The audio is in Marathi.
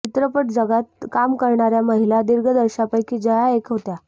चित्रपट जगतात काम करणऱया महिला दिग्दर्शकापैकी जया एक होत्या